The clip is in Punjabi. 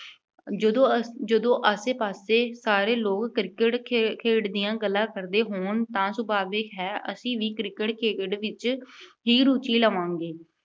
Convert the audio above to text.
ਜਦੋਂ ਅਅਹ ਜਦੋਂ ਆਸੇ-ਪਾਸੇ ਸਾਰੇ ਲੋਕ Cricket ਖੇ ਅਹ ਖੇਡ ਦੀਆਂ ਗੱਲਾਂ ਕਰਦੇ ਹੋਣ ਤਾਂ ਸੁਭਾਵਿਕ ਹੈ ਕਿ ਅਸੀਂ ਵੀ Cricket ਖੇਡ ਵਿੱਚ ਹੀ ਰੁਚੀ ਲਵਾਂਗੇ।